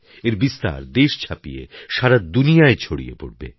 এর বিস্তার দেশ ছাপিয়ে সারা দুনিয়ায় ছড়িয়ে পড়বে